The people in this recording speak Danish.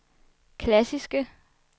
klassiske